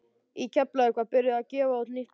Í Keflavík var byrjað að gefa út nýtt blað.